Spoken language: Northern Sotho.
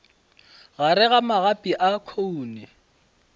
gare ga magapi a khoune